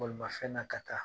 Bolimafɛn na ka taa